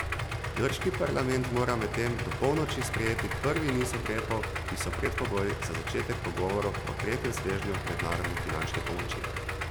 Grški parlament mora medtem do polnoči sprejeti prvi niz ukrepov, ki so predpogoj za začetek pogovorov o tretjem svežnju mednarodne finančne pomoči.